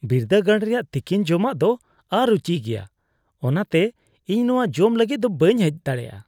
ᱵᱤᱨᱫᱟᱹᱜᱟᱲ ᱨᱮᱭᱟᱜ ᱛᱤᱠᱤᱱ ᱡᱚᱢᱟᱜ ᱫᱚ ᱚᱼᱨᱩᱪᱤᱜᱮᱭᱟ; ᱚᱱᱟᱛᱮ ᱤᱧ ᱱᱚᱶᱟ ᱡᱚᱢ ᱞᱟᱹᱜᱤᱫ ᱫᱚ ᱵᱟᱹᱧ ᱦᱮᱡ ᱫᱟᱲᱮᱭᱟᱜᱼᱟ ᱾